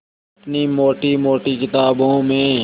अपनी मोटी मोटी किताबों में